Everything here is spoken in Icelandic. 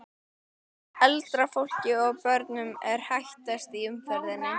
Eldra fólki og börnum er hættast í umferðinni.